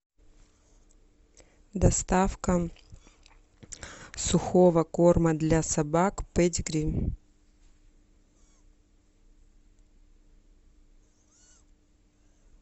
доставка сухого корма для собак педигри